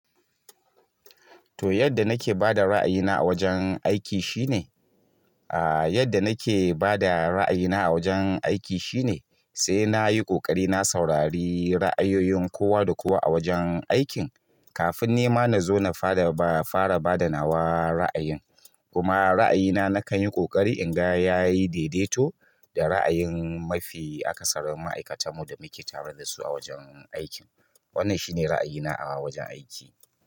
To yadda nake bada raayina awajen aiki shine ah yadda nake bada raayina awajen aiki shine sai nayi ƙoƙari na saurari raayin kowa da kowa agurin aikin kafin ni ma na zo na fara ba, fara ba da nawa ra'ayin. Kuma ra'ayina na kan yi ƙoƙari in ga ya yi daidaito da ra'ayin mafi akasarin ma'aikatan mu da muke tare da su a wajen aikin. Wannan shine ra'ayina a wajen aiki.